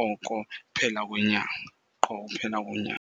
oko uphela kwenyanga, qho uphela kwenyanga.